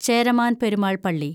ചേരമാന്‍ പെരുമാള്‍ പള്ളി